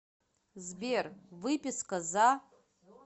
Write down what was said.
сбер выписка за